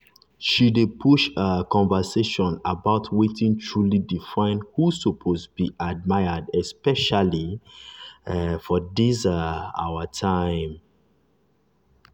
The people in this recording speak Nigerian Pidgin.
she dey push um conversation about wetin truly define who suppose be admired especially um for this um our time.